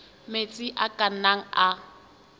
metsi a ka nnang a